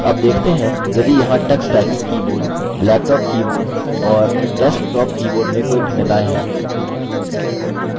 अब देखते हैं यदि यहाँ Tux typing keyboard laptop keyboard और डेस्कटॉप कीबोर्ड में कोई भिन्नताएँ हैं